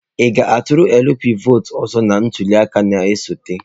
Ị ga-atụrụ LP vọọtụ ọzọ na ntuli aka na-esote?